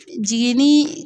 Jiginni